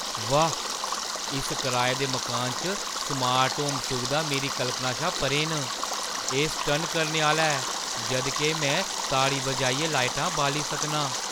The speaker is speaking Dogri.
वाह्, इस कराए दे मकानै च स्मार्ट होम सुविधां मेरी कल्पना शा परें न। एह् सटन्न करने आह्‌ला ऐ जद् के में ताड़ी बजाइयै लाइटां बाली सकनां!